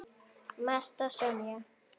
Marta Sonja.